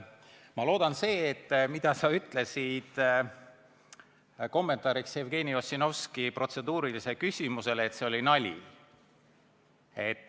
Ma loodan, et see, mida sa ütlesid kommentaariks Jevgeni Ossinovski protseduurilisele küsimusele, oli nali.